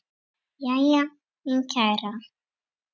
Jæja, mín kæra.